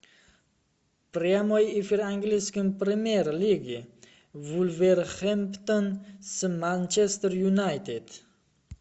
прямой эфир английской премьер лиги вулверхэмптон с манчестер юнайтед